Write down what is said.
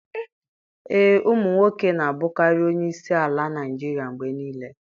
Ee, ụmụ nwoke na-abụkarị onye isi ala Naijiria mgbe niile.